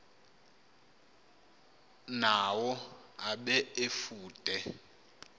nawo abe efude